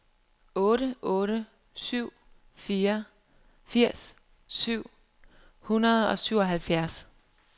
otte otte syv fire firs syv hundrede og syvoghalvfjerds